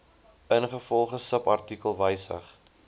ingevolge subartikel wysig